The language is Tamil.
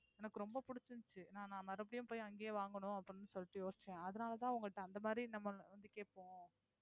எனக்கு ரொம்ப புடிச்சுருந்துச்சு நான் மறுபடியும் அங்கேயே வாங்கணும் அப்படின்னு சொல்லிட்டு யோசிச்சேன் அதனாலதான் உங்கள்ட்ட அந்த மாதிரி நம்ம வந்து கேட்போம்